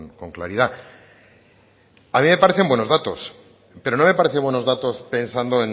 con claridad a mí me parecen buenos datos pero no me parecen buenos datos pensando